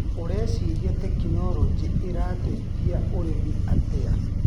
ũreciria tekinologĩ ĩrateithia ũrĩmi atĩa.